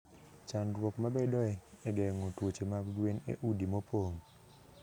Chandruok mabedoe e geng'o tuoche mag gwen e udi mopong' .